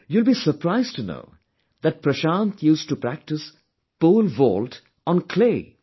You will be surprised to know that Prashant used to practice Pole vault on clay